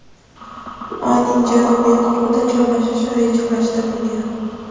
Oyning janubiy qutbida joylashish rejalashtirilgan.